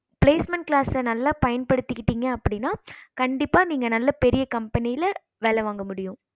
placement class நல்ல பயன்படுத்திகிட்டிங்க அப்படின்னா கண்டிப்பா நீங்க பெரிய company வேல வாங்க முடியும்